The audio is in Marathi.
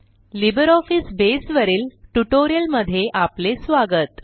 लिब्रिऑफिस बसे वरील ट्युटोरियलमध्ये आपले स्वागत